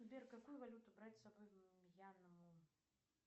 сбер какую валюту брать с собой в мьянму